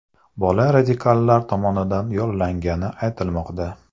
Bola radikallar tomonidan yollangani aytilmoqda.